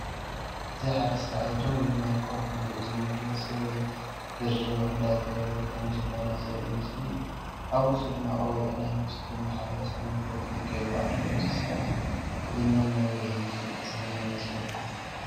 እዚ ሓደ ስበኣይ ደው ኢሉ ማይክረፎን ሒዙ መግለፂ ወይም ዝርርብ እንዳገበረ ካም ዝኮነ ዘርኢ ምስሊ እዩ። ኣብ ርእሱ ድማ ቆቢዕ ናይ ሙስሊም ማሕበረሰብ መግለፂ ገይሩ ኣሎ። እዚ ሰብኣይ ንመን መብርሂ ዝህብ ዘሎ ይመስለኩም?